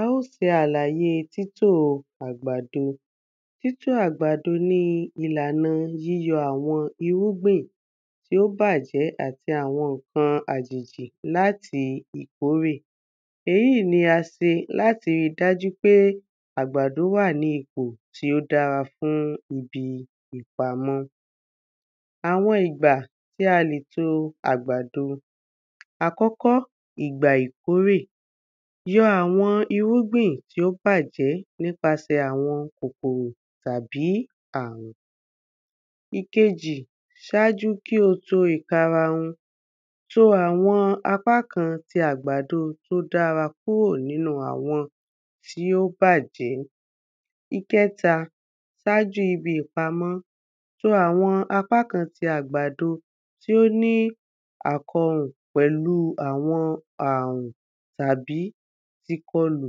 A ó ṣe àlàye ìlàna títò àgbàdo Títò àgbàdo ni ìlàna yíyọ àwọn irúgbìn tí ó bàjẹ́ àti àwọn ǹkan àjèjì l’áti ìkórè Èyí ni a se l’áti rí dájú pé àgbàdo wà ní ipò tí ó dára fún ibi ìpamọ́ Àwọn ìgbà tí a lè to àgbàdo Àkọ́kọ́, ìgbà ìkórè Yọ àwọn irúgbìn tí ó bàjẹ́ nípasẹ̀ àwọn kòkòrò tàbí àrùn. Ìkejì, ṣájú kí o to ìkarahun, to àwọn àgbádo t’ó dára kúrò n’ínu àwọn tí ó bàjẹ́ Ìkẹta, sájú ibi ìpamọ́, to àwọn apá kan ti àgbádo tí ó ní àkọhùn pẹ̀lú àwọn àrùn tàbí tikọlù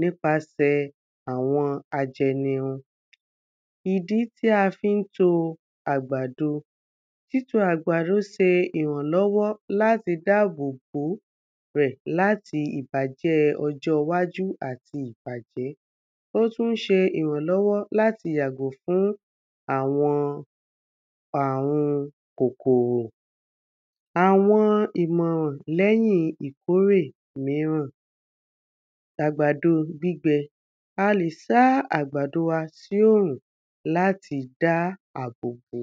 nípasẹ̀ àwọn ajẹnirun Ìdí tí a fí ń to àgbàdo Títo àgbàdo se ìrànlọ́wọ́ l’áti dábòbó ó rẹ̀ l’áti ìbàjẹ́ ojó iwájú àti ìbàjẹ́ Ó tún ṣe ìrànlọ́wọ́ l’áti yàgò fún àwọn àrun kòkòrò Àwọn ìmọ̀ràn l’ẹ́yìn ìkórè míràn S’àgbàdo gbígbẹ. A lè sá àgbàdo wa sí òrùn l’áti dá àbò bó.